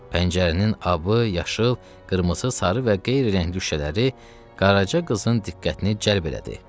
Pəncərənin abı, yaşıl, qırmızı, sarı və qeyri rəngli şüşələri Qaraca qızın diqqətini cəlb elədi.